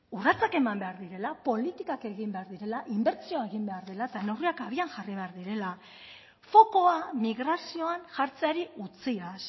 urratsak eman behar direla politikak egin behar direla inbertsioa egin behar dela eta neurriak abian jarri behar direla fokoa migrazioan jartzeari utziaz